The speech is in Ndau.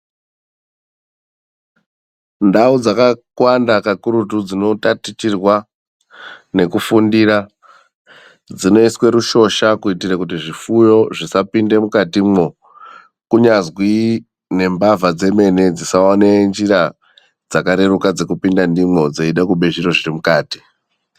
Ndau dzakawanda kakurutu dzinotatichirwa nekufundira dzinoiswa rushosha kuitire kuti zvipfuyo zvisapinda mukatimwo. Kunyazwi nembavha dzemene dzisaone njira dzakareruka dzekupinda ndimwo dzeida kuba zviro zviri mukati.